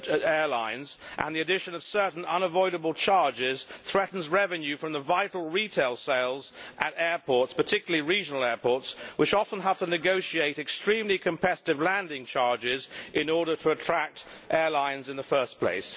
airlines and the addition of certain unavoidable charges, threatens revenue from vital retail sales at airports. This is particularly the case for regional airports, which often have to negotiate extremely competitive landing charges in order to attract airlines in the first place.